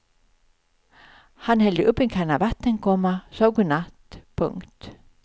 Han hällde upp en kanna vatten, komma sade godnatt. punkt